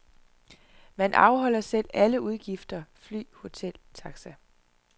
Man afholder selv alle udgifter, fly, hotel, taxa.